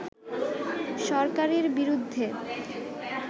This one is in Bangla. সরকারের বিরুদ্ধে